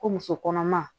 Ko muso kɔnɔma